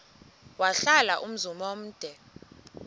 wahlala umzum omde